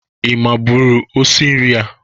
Ị mabụrụ osi nri a?